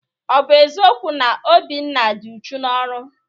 Ọ bụ eziokwu na Obinna dị uchu n'ọrụ?